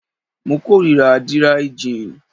Mo kórira díríí jin